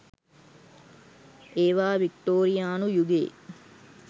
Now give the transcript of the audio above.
ඒවා වික්ටෝරියානු යුගයේ